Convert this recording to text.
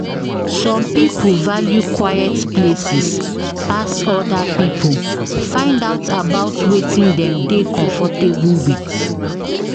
Some pipo value quiet places pass oda pipo, find out about wetin dem dey comfortable with